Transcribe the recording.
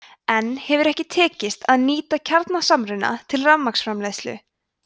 enn hefur ekki tekist að nýta kjarnasamruna til rafmagnsframleiðslu